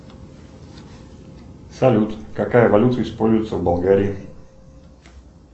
салют какая валюта используется в болгарии